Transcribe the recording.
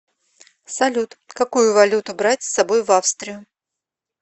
салют какую валюту брать с собой в австрию